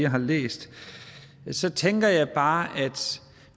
har læst så tænker jeg bare at